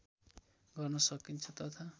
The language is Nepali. गर्न सकिन्छ तथा